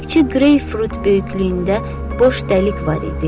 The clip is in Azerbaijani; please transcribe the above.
Təkcə qreypfrut böyüklüyündə boş dəlik var idi.